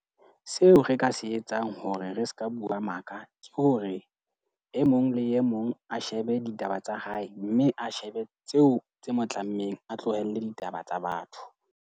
Seo re ka se etsang hore re seka bua maka, ke hore e mong le e mong a shebe ditaba tsa hae. Mme a shebe tseo tse mo tlammeng. A tlohelle ditaba tsa batho.